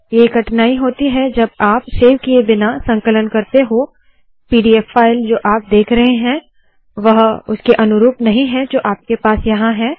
ये कठिनाई होती है जब आप सेव किए बिना संकलन करते हो पीडीएफ पीडीएफ फाइल जो आप देख रहे है वह उसके अनुरूप नहीं है जो आपके पास यहाँ है